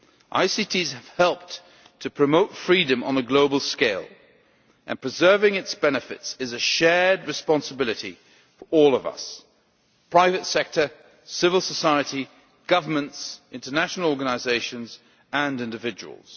ICTs have helped to promote freedom on a global scale, and preserving the benefits of freedom is a shared responsibility for all of us the private sector, civil society, governments, international organisations and individuals.